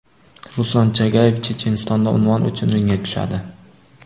Ruslan Chagayev Chechenistonda unvon uchun ringga tushadi.